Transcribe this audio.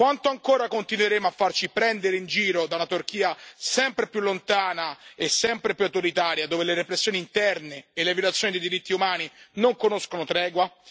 Quanto ancora continueremo a farci prendere in giro dalla Turchia, sempre più lontana e sempre più autoritaria, dove le repressioni interne e le violazioni dei diritti umani non conoscono tregua?